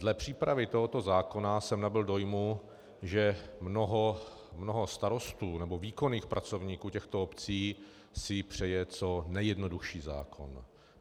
Dle přípravy tohoto zákona jsem nabyl dojmu, že mnoho starostů nebo výkonných pracovníků těchto obcí si přeje co nejjednodušší zákon.